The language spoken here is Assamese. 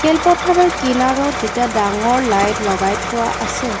খেলপথাৰৰ কিনাৰত দুটা ডাঙৰ লাইট লগাই থোৱা আছে।